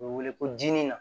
U bɛ wele ko jinin na